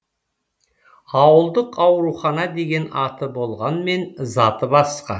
ауылдық аурухана деген аты болғанмен заты басқа